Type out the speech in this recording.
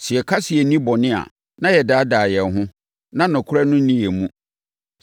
Sɛ yɛka sɛ yɛnni bɔne a, na yɛdaadaa yɛn ho, na nokorɛ no nni yɛn mu.